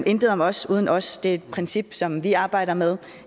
intet om os uden os er et princip som vi arbejder med